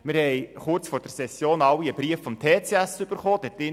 Wir haben kurz vor der Session alle einen Brief des TCS erhalten.